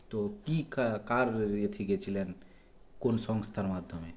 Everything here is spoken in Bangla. তো কী কা কার ইয়েতে গেছিলেন কোন সংস্থার মাধ্যমে